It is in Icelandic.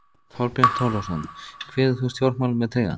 Þorbjörn Þórðarson: Kveður þú stjórnmálin með trega?